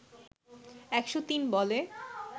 ১০৩ বলে